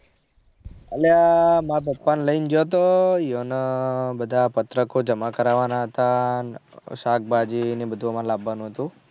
અલ્યા મારા પપ્પા ને લઇ ગયો. થો યને બધા પત્રકો જમા કરવાના હતા. શાક ભાજી ને બધું એમાં લાવવાનું હતું.